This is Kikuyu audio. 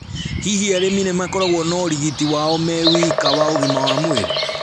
Hihi arĩmi nĩmakoragwo na ũrigiti wao me wika wa ũgima wa mwĩrĩ?